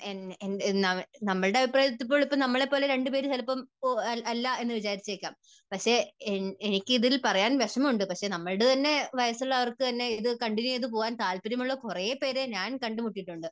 N, നമ്മുടെ അഭിപ്രായത്തിൽ, ഇപ്പോൾ നമ്മളെ പോലെ രണ്ടുപേർ രണ്ടുപേർ ചിലപ്പോൾ അല്ല എന്ന് വിചാരിച്ചേക്കാം. പക്ഷേ എനിക്ക് ഇതിൽ പറയാൻ വിഷമമുണ്ട് പക്ഷേ നമ്മുടെ തന്നെ വയസ്സുള്ളവർക്ക് തന്നെ ഇത് കണ്ടിന്യൂ ചെയ്താൽ പോകാൻ താല്പര്യം ഉള്ള കുറേ കുറെ പേരെ ഞാൻ കണ്ടുമുട്ടിയിട്ടുണ്ട്.